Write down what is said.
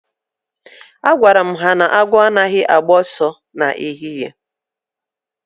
Agwaram ha na 'Awọ anaghị agba ọsọ na ehihie'